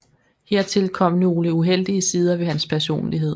Hertil kom nogle uheldige sider ved hans personlighed